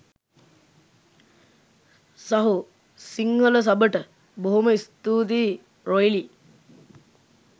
සහෝ සිංහල සබට බොහොම ස්තූතියි රොයිලි.